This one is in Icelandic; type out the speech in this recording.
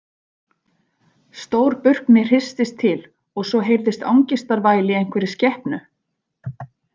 Stór burkni hristist til og svo heyrðist angistarvæl í einhverri skepnu.